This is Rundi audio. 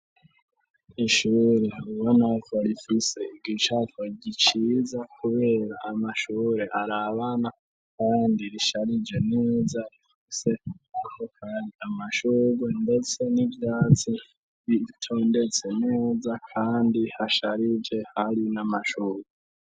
Ishuri, ubonako rifise igicapo, giciza kubera, Amashure arabana, kandi risharije, neza, rifise ko kari mashugwe ndetse n'ivyatsi, bitondetse neza, kandi hasharije hari n'amashurwe